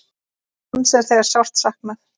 Hans er þegar sárt saknað.